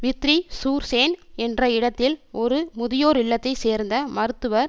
Vitry sur Seine என்ற இடத்தில் ஒரு முதியோர் இல்லத்தைச் சேர்ந்த மருத்துவர்